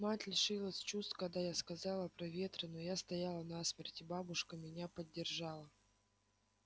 мать лишилась чувств когда я сказала про ветры но я стояла насмерть и бабушка меня поддержала